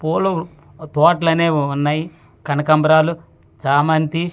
పూలు తోట్లనేవి ఉన్నాయి కనకంబ్రాలు చామంతి--